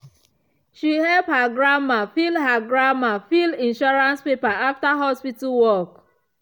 she help her grandma fill her grandma fill insurance paper after hospital work.